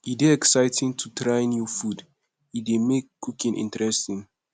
e dey exciting to try new food e dey make cooking interesting